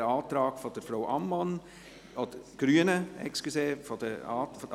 Wer den Antrag von SiK und Regierungsrat annimmt, stimmt Ja, wer den Antrag der Grünen annimmt, stimmt Nein.